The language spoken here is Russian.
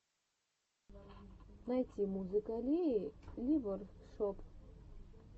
найти музыка леи ли воркшоп